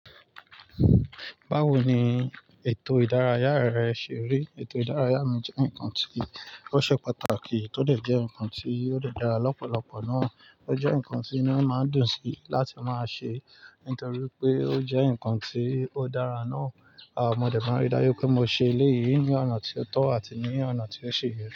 Báwo ni ètò ìdárayá rẹ ṣe rí? Ètò ìdárayá mi jẹ́ ǹkan tí ó ṣe pàtàkì, tó dẹ̀ jẹ́ ǹkan tí ó dẹ̀ dára lọ́pọ̀lọpọ̀ náà. Ó jẹ́ ǹkan tí inú máa ń dùn sí láti máa ṣe, nítorí pé ó jẹ́ ǹkan tí ó dára náà. À mo dẹ tún rí dájú pé mo ṣe elé yìí ní ọ̀nà tí ó tọ́ àti ní ọ̀nà tí ó ṣi yẹ.